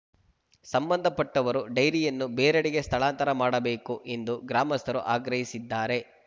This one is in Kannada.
ಸಂಬಂಧಪಟ್ಟವರು ಡೈರಿಯನ್ನು ಬೇರೆಡೆಗೆ ಸ್ಥಳಾಂತರ ಮಾಡಬೇಕು ಎಂದು ಗ್ರಾಮಸ್ಥರು ಆಗ್ರಹಿಸಿದ್ದಾರೆ